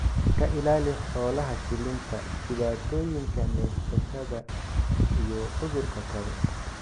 ka ilaali xoolaha shilinta, dhibaatooyinka neefsashada iyo cudurrada kale.